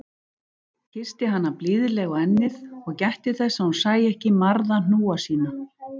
Kyssti hana blíðlega á ennið- og gætti þess að hún sæi ekki marða hnúa sína.